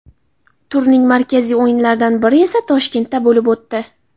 Turning markaziy o‘yinlaridan biri esa Toshkentda bo‘lib o‘tdi.